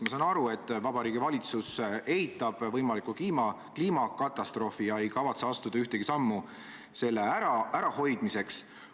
Ma saan aru, et Vabariigi Valitsus eitab võimalikku kliimakatastroofi ega kavatse astuda ühtegi sammu selle ärahoidmiseks.